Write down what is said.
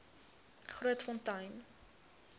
grootfontein